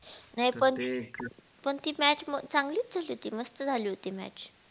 नाही पण पण ती match चागलीच झाली होती मस्तच झाली होती.